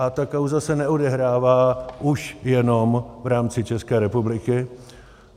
A ta kauza se neodehrává už jenom v rámci České republiky.